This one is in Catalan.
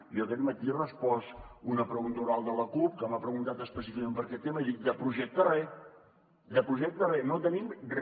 jo aquest matí he respost a una pregunta oral de la cup que m’ha preguntat específicament per aquest tema i he dit de projecte re de projecte re no tenim re